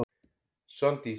Svandís